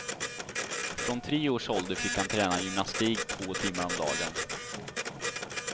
Från tre års ålder fick han träna gymnastik två timmar om dagen.